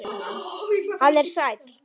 Hann er sæll.